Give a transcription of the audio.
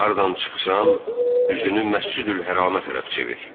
Hardan çıxsan, üzünü Məscidül-Hərama tərəf çevir.